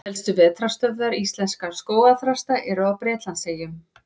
Helstu vetrarstöðvar íslenskra skógarþrasta eru á Bretlandseyjum.